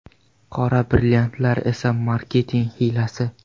Qora brilliantlar esa marketing hiylasi.